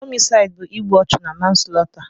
Homisaịd bụ igbu ọchụ na manslọta.